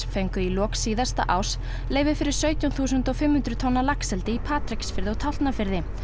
fengu í lok síðasta árs leyfi fyrir sautján þúsund og fimm hundruð tonna laxeldi í Patreksfirði og Tálknafirði